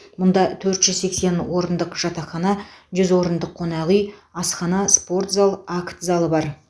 мұнда төрт жүз сексен орындық жатақхана жүз орындық қонақ үй асхана спорт зал акт залы бар